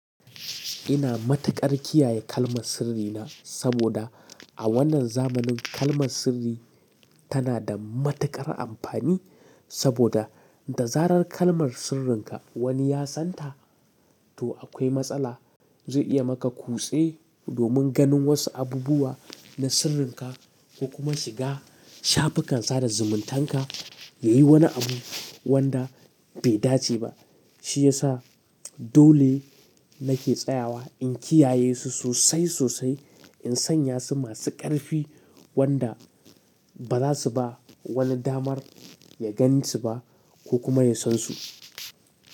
Ina matuƙar kiyaye kalmar sirrina saboda a wannan zamanin kalmar sirri tana da matuƙar amfani. Saboda da zarar kalmar sirrinka wani ya san ta, to akwai matsala. Zai iya maka kutse domin ganin wasu abubuwa na sirrinka ko kuma shiga shafukan sada zumuntanka yayi wani abu wanda bai dace ba. Shi ya sa dole nake tsayawa in kiyaye su sosai sosai, in sanya su masu ƙarfi wanda ba za su ba wani damar ya gansu ba ko kuma ya sansu.